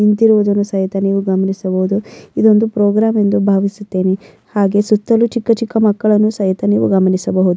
ನಿಂತಿರುವುದನ್ನು ಸಹಿತ ನೀವು ಗಮನಿಸಬಹುದು ಇದೊಂದು ಪ್ರೋಗ್ರಾಮ್ ಎಂದು ಬಾವಿಸುತ್ತೇನೆ ಹಾಗೆ ಸುತ್ತಲು ಚಿಕ್ಕ ಚಿಕ್ಕ ಮಕ್ಕಳನ್ನು ಸಹಿತ ನೀವು ಗಮನಿಸಬಹುದು.